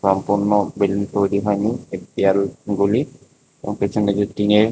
সম্পূর্ণ বিল্ডিং তৈরি হয়নি একটি আরও গোলি এবং পেছনে একটি টিন -এর--